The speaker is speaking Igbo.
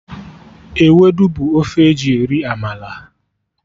Ewedu bụ ofe eji eri amala